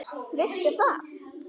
Veistu það?